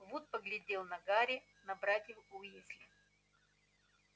вуд поглядел на гарри на братьев уизли